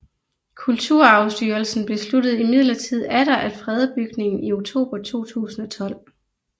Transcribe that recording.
Kulturarvsstyrelsen besluttede imidlertid atter at frede bygningen i oktober 2012